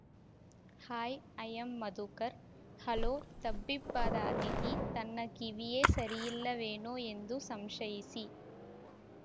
high I am Madhukar hello ತಬ್ಬಿಬ್ಬಾದ ಅತಿಥಿ ತನ್ನ ಕಿವಿಯೇ ಸರಿಯಿಲ್ಲವೇನೋ ಎಂದು ಸಂಶಯಿಸಿ